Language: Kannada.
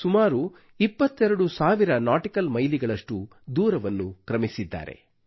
ಸುಮಾರು 22 ಸಾವಿರ ನಾಟಿಕಲ್ ಮೈಲಿಗಳಷ್ಟು ದೂರವನ್ನು ಕ್ರಮಿಸಿದ್ದಾರೆ